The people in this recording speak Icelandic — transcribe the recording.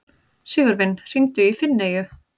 Sigurvin, hringdu í Finneyju.